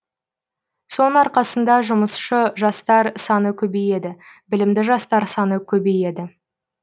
соның арқасында жұмысшы жастар саны көбейеді білімді жастар саны көбейеді